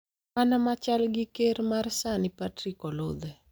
mana machal gi ker ma sani Patrick Oludhe,